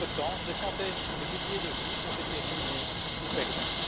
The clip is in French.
Entre temps, des centaines de milliers de vies ont été ruinées ou perdues.